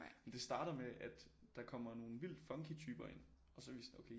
Men det startede med at der kommer nogle vildt funky typer ind og så er vi sådan okay I